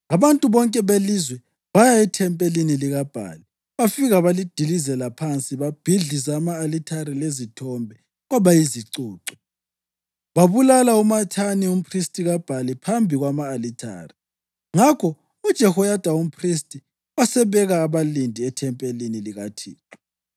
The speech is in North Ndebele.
Abantu bonke belizwe baya ethempelini likaBhali bafika balidilizela phansi. Babhidliza ama-alithare lezithombe kwaba yizicucu, babulala uMathani umphristi kaBhali phambi kwama-alithare. Ngakho uJehoyada umphristi wasebeka abalindi ethempelini likaThixo.